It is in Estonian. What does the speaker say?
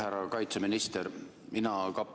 Härra kaitseminister!